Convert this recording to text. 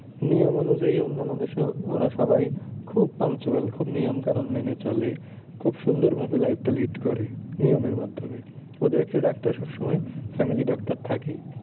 নিয়ম অনুযায়ী অন্যান্য দেশে ওরা সবাই খুব punctual খুব নিয়ম কানুন মেনে চলে। খুব সুন্দর ভাবে life টা lead করে নিয়মের মাধ্যমে। ওদের একটা ডাক্তার সবসময় family doctor থাকেই।